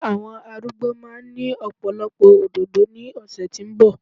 ilé àwọn arúgbó ma ni ọpọlọpọ òdòdó ni ọsẹ ti nbọ